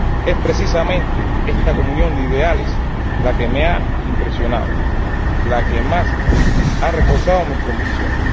Es precisamente esta comunión de ideales la que más me ha impresionado, la que más ha reforzado mis convicciones.